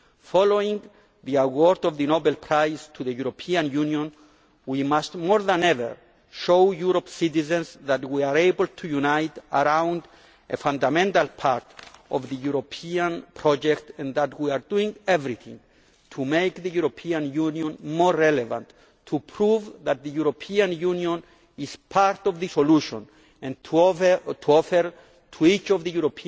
Following the award of the Nobel Prize to the European Union, we must more than ever show European citizens that we are able to unite around a fundamental part of the European project by doing everything to make the European Union more relevant, to prove that the European Union is part of the solution and to offer to each